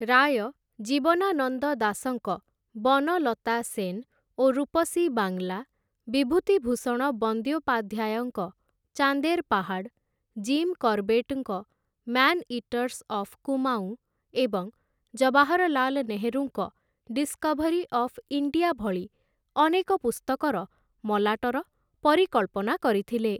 ରାୟ ଜୀବନାନନ୍ଦ ଦାସଙ୍କ 'ବନଲତା ସେନ୍', ଓ 'ରୂପସୀ ବାଂଲା', ବିଭୂତିଭୂଷଣ ବନ୍ଦ୍ୟୋପାଧ୍ୟାୟଙ୍କ 'ଚାନ୍ଦେର୍ ପାହାଡ଼୍', ଜିମ୍ କର୍ବେଟ୍ଟ୍‌ଙ୍କ 'ମ୍ୟାନ୍‌ଇଟର୍‌ସ୍ ଅଫ୍ କୁମାଊଁ' ଏବଂ ଜବାହରଲାଲ ନେହେରୁଙ୍କ 'ଡିସ୍‌କଭରି ଅଫ୍ ଇଣ୍ଡିଆ' ଭଳି ଅନେକ ପୁସ୍ତକର ମଲାଟର ପରିକଳ୍ପନା କରିଥିଲେ ।